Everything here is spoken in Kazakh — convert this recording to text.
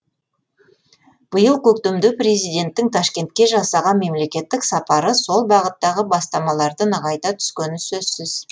биыл көктемде президенттің ташкентке жасаған мемлекеттік сапары сол бағыттағы бастамаларды нығайта түскені сөзсіз